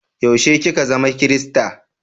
Yaushe ki ka zama kirista?